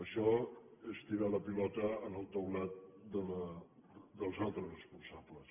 això és tirar la pilota al taulat dels altres respon·sables